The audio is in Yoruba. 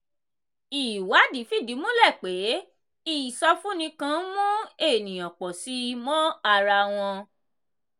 ìwádìí fìdí múlẹ̀ pé ìsọfúnni kan ń mu ènìyàn pọ̀ sí i mọ ara wọn.